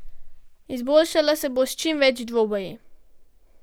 Izboljšala se bo s čim več dvoboji.